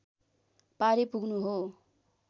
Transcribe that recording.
पारी पुग्नु हो